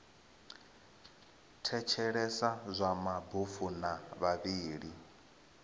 thetshelesa zwa mabofu na vhavhali